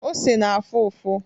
Ose na-afụ ụfụ.